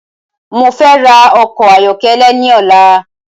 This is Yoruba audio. Mo fẹ ra ọkọ̀ ayọkẹlẹ ni ọ̀la